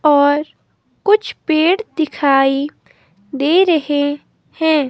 और कुछ पेड़ दिखाई दे रहे हैं।